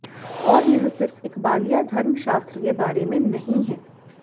और यह सिर्फ इकबालिया धर्मशास्त्र के बारे में नहीं है